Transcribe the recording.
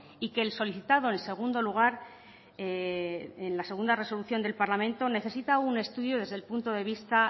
y que el solicitado en segundo lugar en la segunda resolución del parlamento necesita un estudio desde el punto de vista